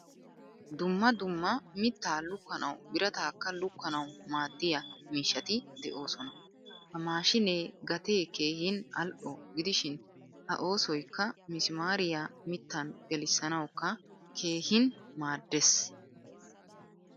Dumma dumma mitta lukkanawu biratakka lukanawu maadiyaa miishshati deosona. Ha maashinee gatee keehin al'o gidishin a oosoykka misimaariya mittan gelisanawukka keehin maaddees.